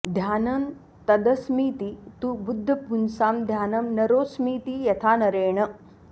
ध्यानं तदस्मीति तु बुद्धपुंसा ध्यानं नरोऽस्मीति यथा नरेण